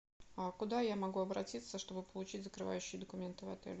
а куда я могу обратиться чтобы получить закрывающие документы в отеле